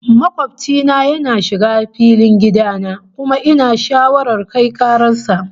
Makobci na yana shiga filin gida na, kuma ina shawarar kai karar sa